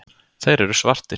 Þeir eru svartir.